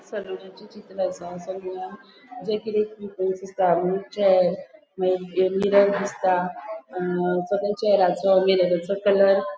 सलुनाचे चित्र असा सलुनान चैर मागिर मिरर दिसता अ चैराचो मिररचो कलर .